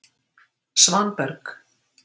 Svanberg